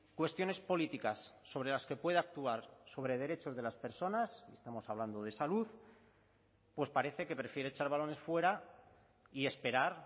cuestiones políticas sobre las que pueda actuar sobre derechos de las personas estamos hablando de salud pues parece que prefiere echar balones fuera y esperar